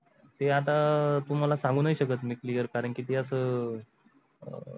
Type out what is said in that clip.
ते आता तुम्हाला सांगुनाही सकत मी clear कारण की ते अस.